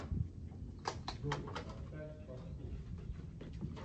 джой поставь попсу